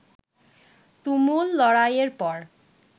তুমুল লড়াইয়ের পর